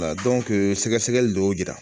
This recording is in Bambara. sɛgɛsɛgɛli dɔw y'o jira